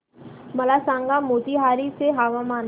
मला सांगा मोतीहारी चे हवामान